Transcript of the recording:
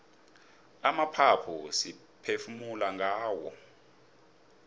amaphaphu siphefumula ngawo